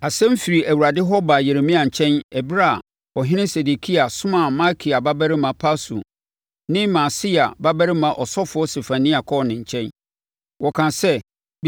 Asɛm firi Awurade hɔ baa Yeremia nkyɛn ɛberɛ a, ɔhene Sedekia somaa Malkia babarima Pashur ne Maaseia babarima ɔsɔfoɔ Sefania kɔɔ ne nkyɛn. Wɔkaa sɛ,